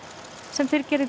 sem fyrr gerði